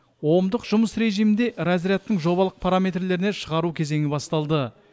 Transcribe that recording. омдық жұмыс режимінде разрядтың жобалық параметрлеріне шығару кезеңі басталды